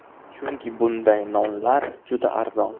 Chunki bunday nonlar juda arzon.